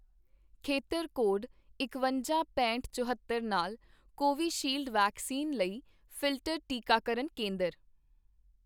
ਖੇਤਰ ਕੋਡ ਇਕਵੰਜਾ, ਪੈਂਹਠ, ਚੁਹੌਤਰ ਨਾਲ ਕੋਵੀਸ਼ੀਲਡ ਵੈਕਸੀਨ ਲਈ ਫਿਲਟਰ ਟੀਕਾਕਰਨ ਕੇਂਦਰ